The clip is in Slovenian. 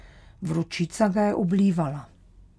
Vročica ga je oblivala.